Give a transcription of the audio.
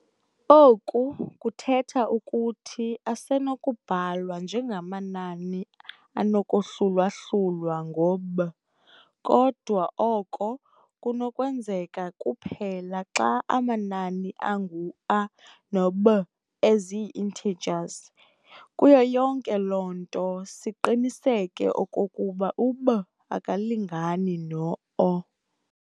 Oku kuthetha ukuthi asenokubhalwa njengamanani anokohlulwa-hlulwa ngo-"b", kodwa oko kunokwenzeka kuphela xa amanani angu- a no- b ezii-integers, kuyo yonke loo nto siqiniseke okokuba u-b akalingani no-0.